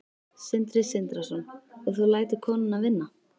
Sindri Sindrason: og þú lætur konuna vinna?